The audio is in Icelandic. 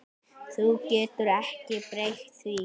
Þú getur ekki breytt því.